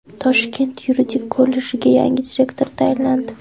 Toshkent yuridik kollejiga yangi direktor tayinlandi.